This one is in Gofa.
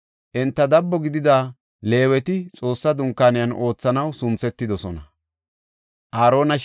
Enta dabo gidida Leeweti Xoossa Dunkaaniyan oothanaw sunthetidosona.